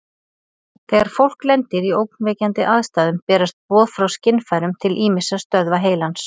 Þegar fólk lendir í ógnvekjandi aðstæðum berast boð frá skynfærum til ýmissa stöðva heilans.